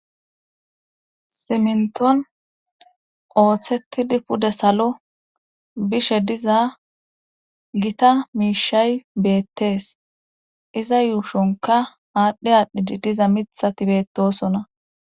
Siminton ooththetidi pude salo bishe diza gita miishay beettees iza yuushonka aadhdhi aadhdhi diza mithati beettosona.